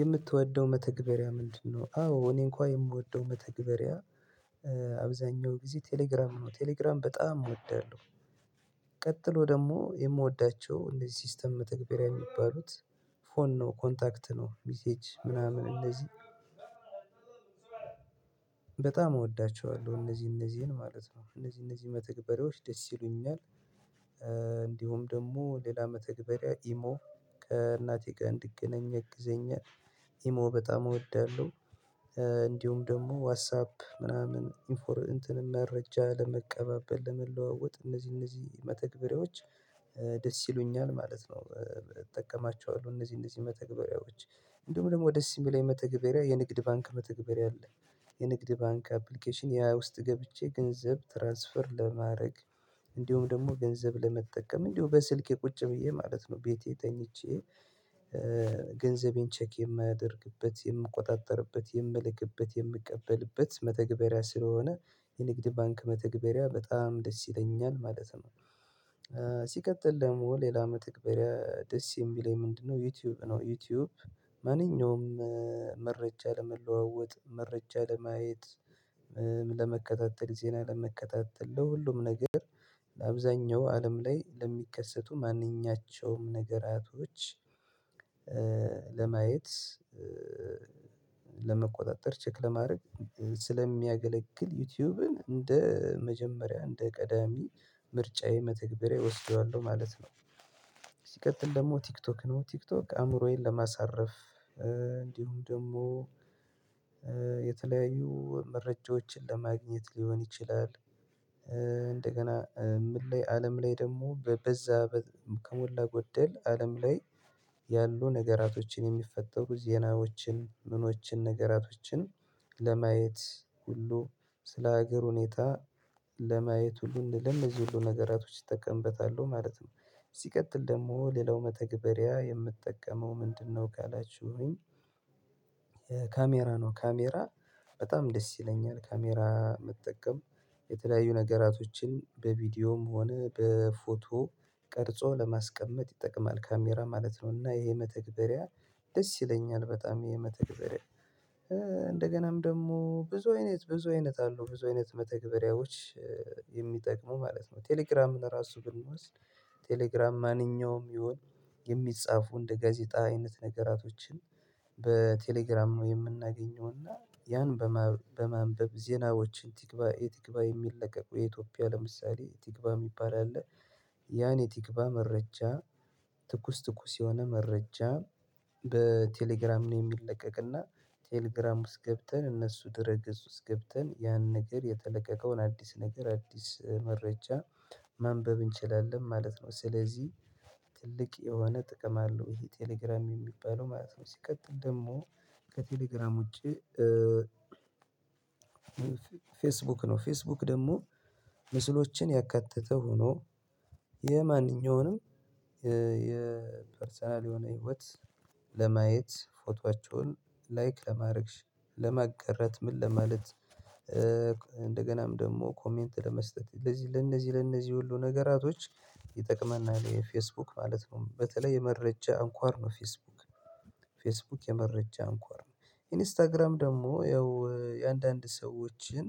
የምትወደው መተግበሪያ ምንድነው? አዎ እኔ እንኳን የምወደው መተግበሪያ አብዛኛው ጊዜ ቴሌግራም ነው ቴሌግራም በጣም እወዳለሁ። ቀጥሎ ደግሞ የምወዳቸው እንደዚህ ሲስተም መተግበሪያ የሚባሉት ፎን ነው ኮንታክት ነው ሚሴጅ ምናምን እንደዚህ በጣም እወዳቸዋለሁ እነዚህ እነዚህን ማለት ነው እነዚህ እነዚህ መተግበሬዎች ደስ ይሉኛል። እንዲሁም ደግሞ ሌላ መተግበሪያ ኢሞ ከእናቴ ጋር እንድገናኝ ያግዘኛል ኢሞ በጣም እወዳለሁ። እንዲሁም ደግሞ ዋትሳፕ ምናምን ኢንፎርሜሽን መረጃ ለመቀባበል ለመለዋወጥ እነዚህ እነዚህ መተግበሪያዎች ደስ ይሉኛል ማለት ነው። እጠቀማቸዋለሁ እነዚህ እነዚህ መተግበሪያዎች እንደውም ደግሞ ደስ የሚል መተግበሪያ የንግድ ባንክ መተግበሪያ አለ። የንግድ ባንክ አፕሊኬሽን ያ ውስጥ ገብቼ ገንዘብ ትራንስፈር ለማድረግ እንዲሁም ደግሞ ገንዘብ ለመጠቀም እንዲሁም በስልኬ ቁጭ ብዬ ማለት ነው ቤቴ ተኝቼ ገንዘቤን ቼክ የማያደርግበት የምቆጣጠርበት የምልክበት የምቀበልበት መተግበሪያ ስለሆነ የንግድ ባንክ መተግበሪያ በጣም ደስ ይለኛል ማለት ነው። ሲቀጥል ደግሞ ሌላ መተግበሪያ የሚለኝ ምንድነው? ዩቲዩብ ነው ዩቲዩብ ማንኛውም መረጃ ለመለዋወጥ መረጃ ለማየት ለመከታተል ዜና ለመከታተል ለሁሉም ነገር ለአብዛኛው አለም ላይ ለሚከሰቱ ማንኛቸውም ነገራቶች ለማየት ለመቆጣጠር ቼክ ለማድረግ ስለሚያገለግል ዩቲዩብን እንደ መጀመሪያ እንደ ቀዳሚ ምርጫዬ መተግበሪያ እወስደዋለሁ ማለት ነው። ሲቀጥል ደግሞ ቲክቶክ ነው ቲክቶክ አእምሮዬን ለማሳረፍ እንዲሁም ደግሞ የተለያዩ መረጃዎችን ለማግኘት ሊሆን ይችላል። እንደገና ምን ላይ አለም ላይ ደግሞ በዛ ከሞላ ጎደል አለም ላይ ያሉ ነገራቶችን የሚፈጠሩ ዜናዎችን ምኖችን ነገራቶችን ለማየት ሁሉ ስለ ሀገር ሁኔታ ለማየት ሁሉንም እንደዚህ ሁሉ ነገራቶች እጠቀምበታል ማለት ነው። ሲቀጥል ደግሞ ሌላው መተግበሪያ የምጠቀመው ምንድነ ነው ካላችሁኝ? ካሜራ ነው ካሜራ በጣም ደስ ይለኛል ካሜራ መጠቀም የተለያዩ ነገራቶችን በቪዲዮም ሆነ ፎቶ ቀርጾ ለማስቀመጥ ይጠቀማል ካሜራ ማለት ነው እና ይሄ መተግበሪያ ደስ ይለኛል በጣም ይሄ መተግበሪያ እንደገናም ደግሞ ብዙ አይነት ብዙ አይነት አሉ ብዙ አይነት መተግበሪያዎች የሚጠቅሙ ማለት ነው። ቴሌግራም ለራሱ ግን ማለት ነው ቴሌግራም ማንኛውም ይሁን የሚጻፉ እንደ ጋዜጣ አይነት ነገራቶችን በቴሌግራም ነው የምናገኘው እና ያን በማንበብ ዜናዎችን ቲክቫህ የቲክቫህ የሚለቀቁ የኢትዮጵያ ለምሳሌ ቲክቫህ የሚባል አለ ያኔ ቲክቫህ መረጃ ትኩስ ትኩስ የሆነ መረጃ በቴሌግራም ነው የሚለቀቅና ቴሌግራም ውስጥ ገብተን እነሱ ድህረገጽ ውስጥ ገብተን ያን ነገር የተለቀቀውን አዲስ ነገር አዲስ መረጃ ማንበብ እንችላለን ማለት ነው ስለዚህ ትልቅ የሆነ ጥቅም አለው ይሄ ቴሌግራም የሚባለው ማለት ነው። ሲቀጥል ደግሞ ከቴሌግራም ውጪ ፌስቡክ ነው ፌስቡክ ደግሞ ምስሎችን ያካተተ ሆኖ የማንኛውንም የፐርሰናል የሆነ ህይወት ለማየት ፎቶአቸውን ላይክ ለማድረግሽ ለመጋረት ምን ለማለት እንደገናም ደግሞ ኮሜንት ለመስጠት ለዚህ ለነዚህ ለነዚህ ሁሉ ነገራቶች ይጠቅማናል ይህ ፌስቡክ ማለት ነው። በተለይ የመረጃ እንኳን ነው ፌስቡክ ፌስቡክ የመረጃ እንኳር ነው ኢንስታግራም ደግሞ ያው የአንዳንድ ሰዎችን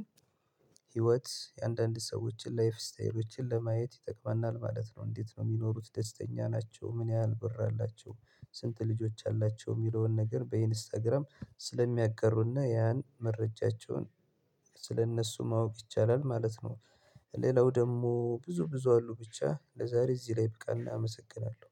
ህይወት የአንዳንድ ሰዎችን ላይፍ ስታይሎችን ለማየት ይጠቅመናል ማለት ነው። እንዴት ነው የሚኖሩት ደስተኛ ናቸው ምን ያህል ብር አላቸው ስንት ልጆች አላቸው የሚለውን ነገር በኢንስታግራም ስለሚያጋሩና ያን መረጃቸውን ስለእነሱ ማወቅ ይቻላል ማለት ነው። ሌላው ደግሞ ብዙ ብዙ አሉ ብቻ ለዛሬ እዚህ ላይ ይብቃን አመሰግናለሁ